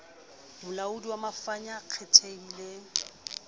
molaodi wa mafa ya kgethehileng